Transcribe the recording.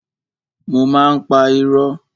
Mo má ń pa irọ́.